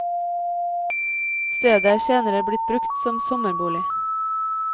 Stedet er senere blitt brukt som sommerbolig.